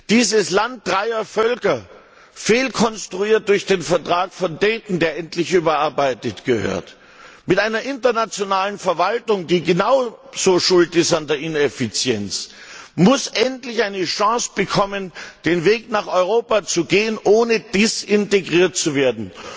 Dieses Land dreier Völker fehlkonstruiert durch den Vertrag von Dayton, der endlich überarbeitet werden muss mit einer internationalen Verwaltung, die genau so schuld ist an der Ineffizienz, muss endlich eine Chance bekommen, den Weg nach Europa zu gehen, ohne desintegriert zu werden.